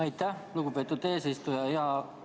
Aitäh, lugupeetud eesistuja!